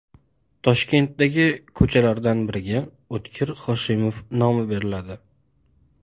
Toshkentdagi ko‘chalardan biriga O‘tkir Hoshimov nomi beriladi.